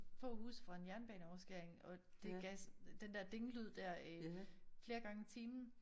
Få huse fra en jernbaneoverskæring og det gav den der ding lyd dér øh flere gange i timen